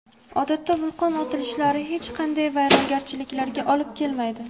Odatda vulqon otilishlari hech qanday vayronagarchiliklarga olib kelmaydi.